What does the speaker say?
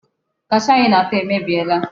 Kashuu ahụ ị na-ata emebiela.